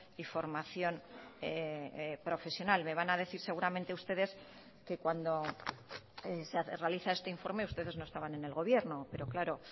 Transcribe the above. y formación profesional me van a decir seguramente ustedes que cuando se realiza este informe ustedes no estaban en el gobierno pero claro